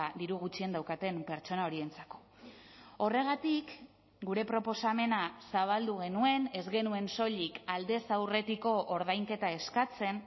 diru gutxien daukaten pertsona horientzako horregatik gure proposamena zabaldu genuen ez genuen soilik aldez aurretiko ordainketa eskatzen